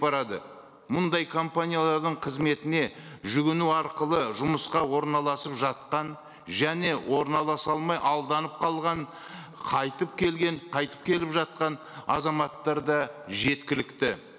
барады мұндай компаниялардың қызметіне жүгіну арқылы жұмысқа орналасып жатқан және орналаса алмай алданып қалған қайтып келген қайтып келіп жатқан азаматтар да жеткілікті